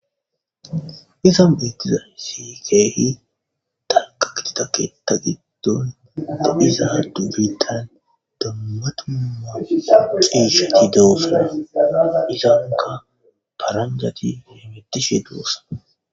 Izan beettiza sikeehi tanqa kititaketa giddon dadhisaadu biritan dammatuma xiisheti dewusana izanka paranjati deemetishe duussa.